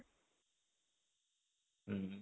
ହୁଁ